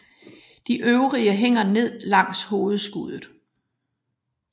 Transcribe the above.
De øvrige hænger ned langs hovedskuddet